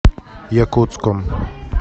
якутском